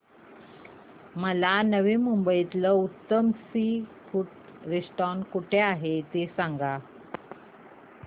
मला नवी मुंबईतलं उत्तम सी फूड रेस्टोरंट कुठे आहे ते सांग